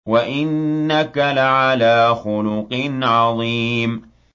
وَإِنَّكَ لَعَلَىٰ خُلُقٍ عَظِيمٍ